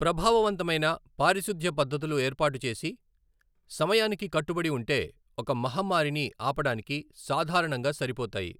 ప్రభావవంతమైన పారిశుధ్య పద్ధతులు ఏర్పాటు చేసి, సమయానికి కట్టుబడి ఉంటే, ఒక మహమ్మారిని ఆపడానికి సాధారణంగా సరిపోతాయి.